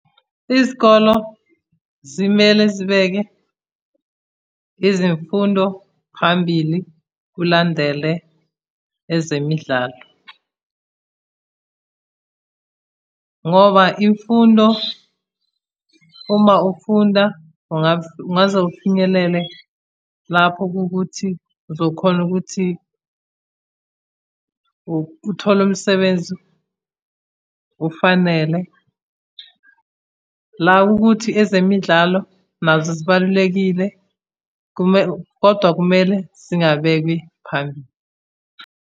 Izikolo zimele zibeke izimfundo phambili kulandele ezemidlalo, ngoba imfundo, uma ufunda ungaze ufinyelele lapho kukuthi uzokhona ukuthi uthole umsebenzi kufanele. La ukuthi ezemidlalo nazo zibalulekile kodwa kumele zingabekwi phambili.